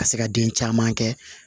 Ka se ka den caman kɛ